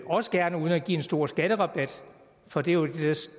også gerne uden at give en stor skatterabat for det er jo